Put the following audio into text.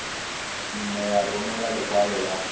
nne ya romela lekwalo la